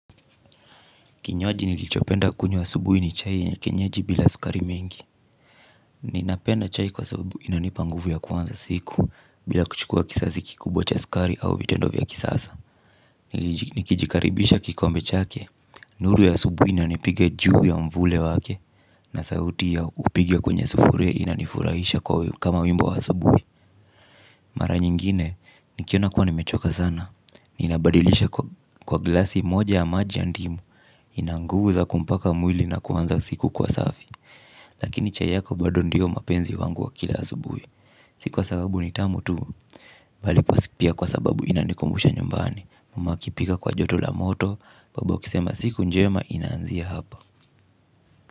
Kinywaji nilichopenda kunywa asubuhi ni chai ya kienyeji bila sukari mingi. Ninapenda chai kwa sababu inanipa nguvu ya kuanza siku. Bila kuchukua kiasi kikubwa cha sukari au vitendo vya kisasa nikijikaribisha kikombe chake Nuru ya asubuhi inanipiga juu ya mvule wake. Na sauti ya kupiga kwenye sufuria inanifurahisha kama wimbo wa asubuhi. Mara nyingine nikiona kuwa nimechoka sana ninabadilisha kwa glasi moja ya maji ya ndimu. Ina nguvu za kumpa mwili na kuanza siku kwa safi. Lakini chai yako bado ndiyo mapenzi wangu wa kila asubuhi. Si kwa sababu ni tamu tu bali kwa pia kwa sababu inanikumbusha nyumbani. Mama akipika kwa joto la moto babu akisema siku njema inaanzia hapa.